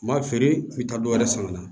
N b'a feere n bɛ taa dɔ wɛrɛ san ka na